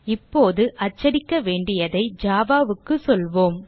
இப்போது அச்சடிக்க வேண்டியதை Java க்கு சொல்லுவோம்